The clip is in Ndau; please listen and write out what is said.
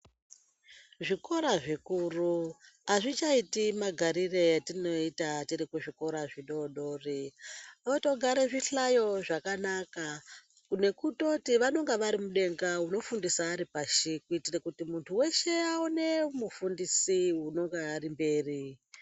Zvikora zvikuru azvichaitii magarite etinoita tiri kuzvikora zvidodori , votogare zvihlayo zvakanaka nekutoti vanenge varimudenga unofundisa aripashi kuitira kuti muntu weshe aone mufundisi unonga srimberi.